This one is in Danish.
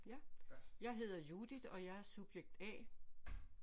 Ja jeg hedder Judith og jeg er subjekt A